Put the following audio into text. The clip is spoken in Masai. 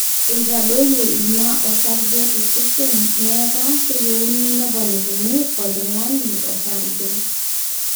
eitadoyio ina osarge tosesen neeka keyieuni neponikini oltung'ani osarge